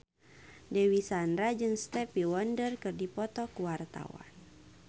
Dewi Sandra jeung Stevie Wonder keur dipoto ku wartawan